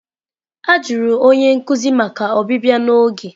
A jụrụ onye nkuzi maka ọbịbịa n'oge.